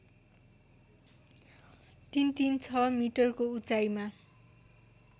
३३६ मिटरको उचाइमा